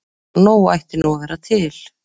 Nóg ætti nú að vera til.